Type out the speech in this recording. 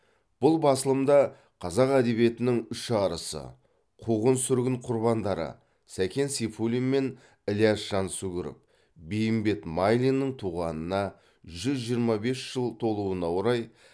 бұл басылым да қазақ әдебиетінің үш арысы қуғын сүргін құрбандары сәкен сейфуллин мен ілияс жансүгіров бейімбет майлиннің туғанына жүз жиырма бес жыл толуына орай